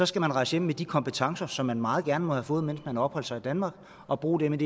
skal man rejse hjem med de kompetencer som man meget gerne må have fået mens man opholdt sig i danmark og bruge dem